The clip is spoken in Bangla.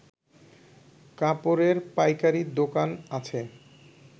কাপড়ের পাইকারি দোকান আছে